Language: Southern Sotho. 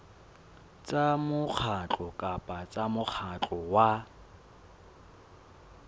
tsa mokgatlo kapa mokgatlo wa